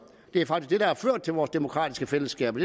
det er faktisk har ført til vores demokratiske fællesskaber